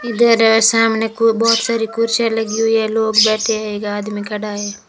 इधर सामने को बहोत सारी कुर्सियां लगी हुई है लोग बैठे हैं एक आदमी खड़ा है।